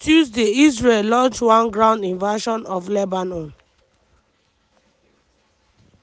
on tuesday israel launch one ground invasion of lebanon: